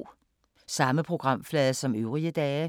Samme programflade som øvrige dage